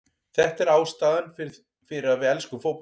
Þetta er ástæðan fyrir að við elskum fótbolta.